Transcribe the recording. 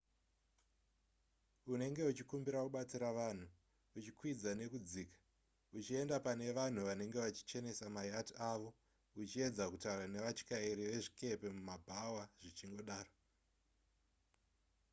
unenge uchikumbira kubatsira vanhu uchikwidza nekudzika uchienda pane vanhu vanenge vachichenesa mayacht avo uchiedza kutaura nevatyairi vezvikepe mumabhawa zvichingodaro